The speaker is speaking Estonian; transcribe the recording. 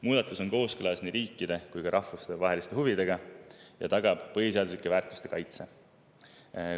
Muudatus on kooskõlas nii riiklike kui ka rahvusvaheliste huvidega ja tagab põhiseaduslike väärtuste kaitse.